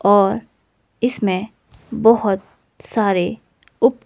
और इसमें बहोत सारे उप--